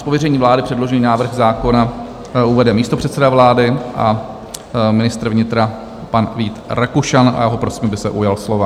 Z pověření vlády předložený návrh zákona uvede místopředseda vlády a ministr vnitra pan Vít Rakušan a já ho prosím, aby se ujal slova.